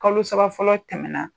Kalo saba fɔlɔ tɛmɛna